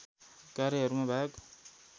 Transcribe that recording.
कार्यहरूमा भाग